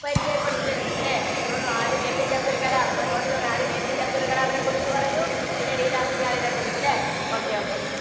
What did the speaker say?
പരിചയപ്പെടുത്തി തരുന്നുണ്ട് ല്ലേ? നമ്മളിന്നു ആദ്യം APJ അബ്ദുള്‍കലാം നമ്മളു note ചെയ്തോളിന്‍, ആദ്യം APJ അബ്ദുള്‍കലാമിനെക്കുറിച്ച് പറഞ്ഞു, പിന്നീട് ഈരാ സിഘാളിനെക്കുറിച്ച് ല്ലേ? okay okay